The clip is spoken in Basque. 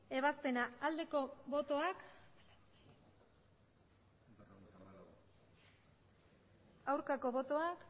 ebazpena aldeko botoak aurkako botoak